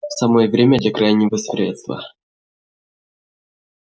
самое время для крайнего средства